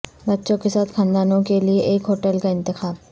بچوں کے ساتھ خاندانوں کے لئے ایک ہوٹل کا انتخاب